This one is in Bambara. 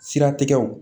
Siratigɛw